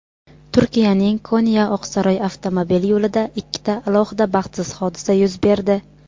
Turkiyaning Konya-Oqsaroy avtomobil yo‘lida ikkita alohida baxtsiz hodisa yuz berdi.